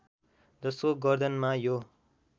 जसको गर्दनमा यो